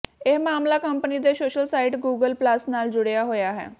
ਇਹ ਮਾਮਲਾ ਕੰਪਨੀ ਦੇ ਸੋਸ਼ਲ ਸਾਈਟ ਗੂਗਲ ਪਲੱਸ ਨਾਲ ਜੁੜਿਆ ਹੋਇਆ ਹੈ